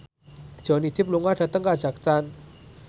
Johnny Depp lunga dhateng kazakhstan